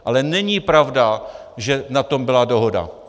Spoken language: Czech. Ale není pravda, že na tom byla dohoda.